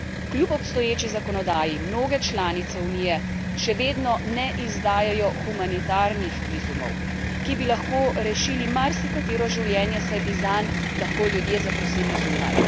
Kljub obstoječi zakonodaji mnoge članice Unije še vedno ne izdajajo humanitarnih vizumov, ki bi lahko rešili marsikatero življenje, saj bi zanj lahko ljudje zaprosili zunaj.